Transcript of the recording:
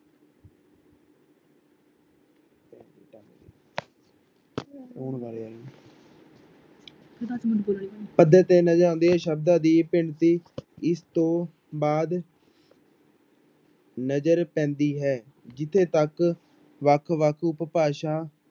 ਪੱਧਰ ਤੇ ਨਜ਼ਰ ਆਉਂਦੀ ਹੈ ਸ਼ਬਦਾਂ ਦੀ ਇਸ ਤੋਂ ਬਾਅਦ ਨਜ਼ਰ ਪੈਂਦੀ ਹੈ ਜਿੱਥੇ ਤੱਕ ਵੱਖ ਵੱਖ ਉਪਭਾਸ਼ਾ